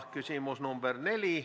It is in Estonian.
Küsimus number 4.